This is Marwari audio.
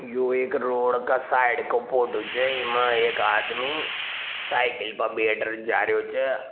यो एक रोड़ का साइड काे फोटो छ इमा एक आदमी साइकिल पे बैठ के जा रहियो छ।